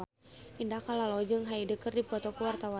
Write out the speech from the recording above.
Indah Kalalo jeung Hyde keur dipoto ku wartawan